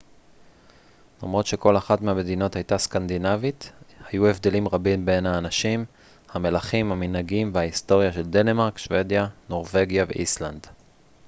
למרות שכל אחת מהמדינות הייתה סקנדינבית' היו הבדלים רבים בין האנשים המלכים המנהגים וההיסטוריה של דנמרק שוודיה נורווגיה ואיסלנד